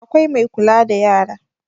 Akwai Mai kula da yara